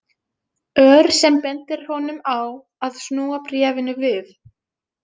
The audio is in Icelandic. Ör sem bendir honum á að snúa bréfinu við.